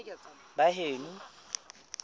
baheno